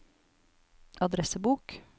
adressebok